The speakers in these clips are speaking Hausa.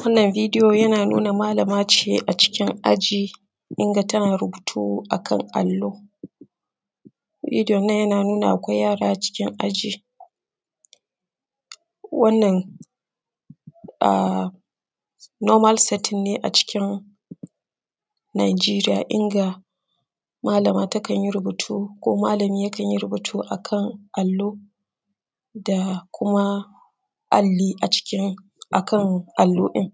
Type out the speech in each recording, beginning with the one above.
Wannan bidiyo yana nuna malama ce a cikin aji inga tana rubutu akan allo, bidiyon nan yana nuna akwai yara a cikin aji. Wannan a nomal satin ne a cikin nijeriya inga malama takan yi rubutu ko malami kan yi rubuta akan alo da kuma ali a cikin akan alo din,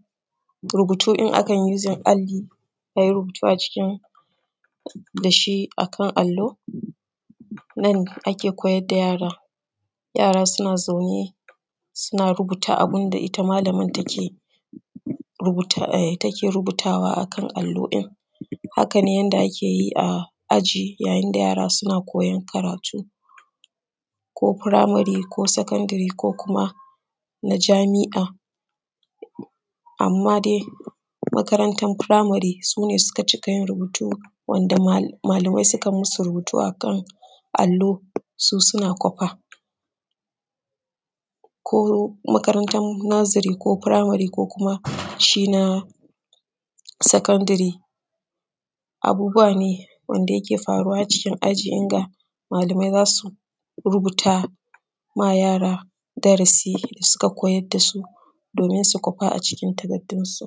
rubutun akan uzin ali ayi rubutu dashi akan allo nan ake koyar da yara, yara suna zaune suna rubuta abinda ita malaman take rubuta ai take rubuwa akan allo din, haka ne ake yi a cikin aji yayin da yara suna koyan karatu ko firamare ko sakandire ko kuma na jami’a amma dai makarantan firamare su ne suka cika yin rubutu wanda malamai sukan musu rubutu akan allo su suna kwafa. Ko makaranta firamare ko naziri ko kuma shi na sakandire abubuwa ne wanda yake faruwa a cikin aji inga malamai za su rubutama yara darasi da suka koyar dasu domin su kwafa a cikin takardunsu.